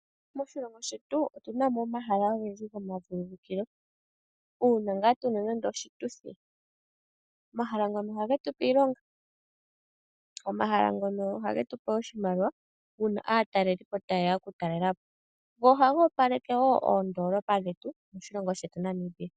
Moshilongo shetu otu na mo omahala ogendji gomashingithilo. Uuna ngaa tu na nande oshituthi, omahala ngano ohage tu pe iilonga. Omahala ngono ohage tu pe oshimaliwa uuna aatalelipo taye ya okutalela po. Go ohaga opaleke wo oondolopa dhetu, moshilongo shetu Namibia.